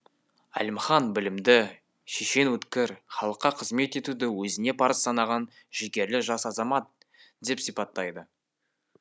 әлімхан білімді шешен өткір халыққа қызмет етуді өзіне парыз санаған жігерлі жас азамат деп сипаттайды